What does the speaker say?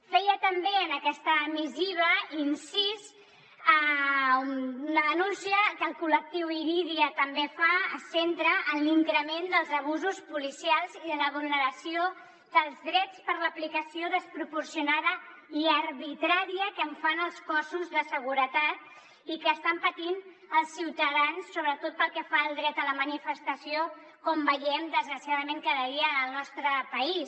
feia també en aquesta missiva incís a una denúncia que el col·lectiu irídia tam·bé fa es centra en l’increment dels abusos policials i de la vulneració dels drets per l’aplicació desproporcionada i arbitrària que en fan els cossos de seguretat i que es·tan patint els ciutadans sobretot pel que fa al dret a la manifestació com veiem des·graciadament cada dia al nostre país